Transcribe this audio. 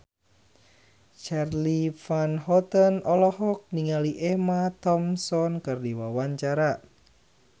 Charly Van Houten olohok ningali Emma Thompson keur diwawancara